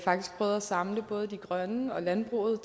samle både de grønne og landbruget